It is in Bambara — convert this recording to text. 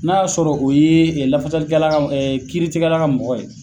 N'a y'a sɔrɔ o ye lafasalikɛ la ka, kiitigɛla ka mɔgɔ ye